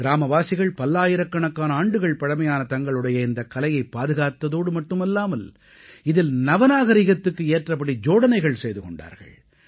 கிராமவாசிகள் பல்லாயிரக்கணக்கான ஆண்டுகள் பழமையான தங்களுடைய இந்தக் கலையைப் பாதுகாத்ததோடு மட்டுமல்லாமல் இதில் நவநாகரீகத்துக்கு ஏற்றபடி ஜோடனைகள் செய்து கொண்டார்கள்